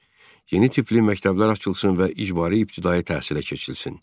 Üç. Yeni tipli məktəblər açılsın və icbari ibtidai təhsilə keçilsin.